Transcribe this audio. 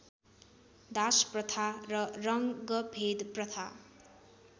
दासप्रथा र रङ्गभेदप्रथा